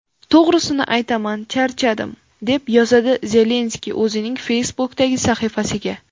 To‘g‘risini aytaman charchadim”, deb yozadi Zelenskiy o‘zining Facebook’dagi sahifasiga.